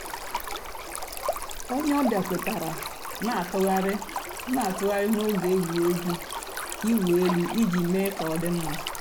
ònyè ọ̀ bịa kwètàrárà nà-àtụ̀ghàrì nà-àtụ̀ghàrì n'ògè ègwè́régwụ̀ ị̀wụ̀ èlù íjì mée kà ọ̀ dị mma.